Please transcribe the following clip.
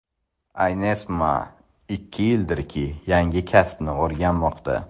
Aynesmaa ikki yildirki yangi kasbni o‘rganmoqda.